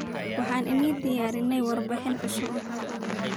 Waxan ni diyarine warbixin cusub.